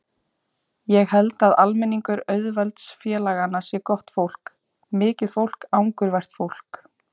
Ég held að almenningur auðvaldsþjóðfélaganna sé gott fólk, mikið fólk, angurvært fólk.